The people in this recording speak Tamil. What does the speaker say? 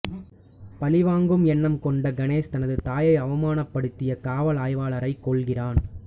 பழிவாங்கும் எண்ணம் கொண்ட கணேஷ் தனது தாயை அவமானப்படுத்திய காவல் ஆய்வாளரைக் கொல்கிறான்